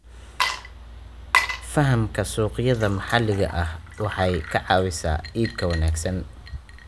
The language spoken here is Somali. Fahamka suuqyada maxalliga ah waxay ka caawisaa iibka wanaagsan.